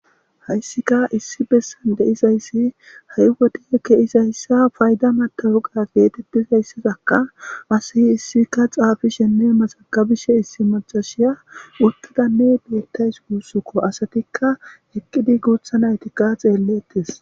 hayssika issi bessan deizayssi ha7i wodi keizayssa fayda matawuqa geetettizayssazakka asihi issika xaafishenne maxagabishe issi macashiya uttidanne beettays guussukko asatikka eqqidi guutha naytikka xeellettes